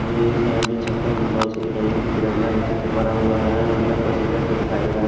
और ये साइड भी चक्कर में बॉल्स सा दिखाई यहां पे तिरंगा का चित्र परा हुआ है अंदर पैसेंजर से दिखाई दे रहा है।